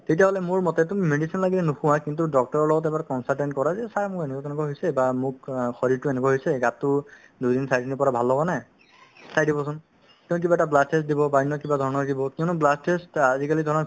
তেতিয়াহ'লে মোৰ মতে তুমি medicine লাগে নোখোৱা কিন্তু doctor ৰৰ লগত এবাৰ consultant কৰা যে sir মোৰ এনেকুৱা তেনেকুৱা হৈছে বা মোক অ শৰীৰটো এনেকুৱা হৈছে গাতো দুই দিন চাৰিদিনৰ পৰা ভাল লগা নাই ‌ চাই দিব চোন তেওঁ কিবা এটা blood test দিব বা অন্য কিবা ধৰণৰ দিব কিয়নো blood test আজিকালি ধৰা